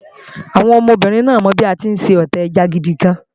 Àwọn ọmọbìnrin náà mọ bí a tí ń Sọ̀té ẹja náà gidigan